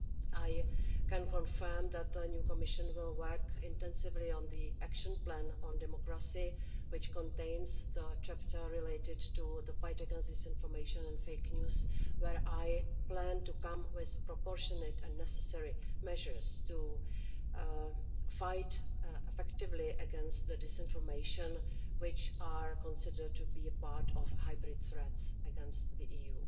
I can confirm that the new Commission will work intensively on the Action Plan on Democracy, which contains a chapter related to the fight against disinformation and fake news, where I plan to come with proportionate and necessary measures to fight effectively against the disinformation which is considered to be a part of hybrid threats against the EU.